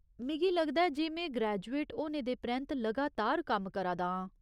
मिगी लगदा ऐ जे में ग्रेजुएट होने दे परैंत्त लगातार कम्म करा दा आं।